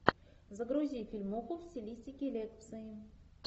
загрузи фильмуху в стилистике лекции